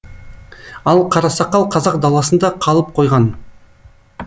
ал қарасақал қазақ даласында қалып қойған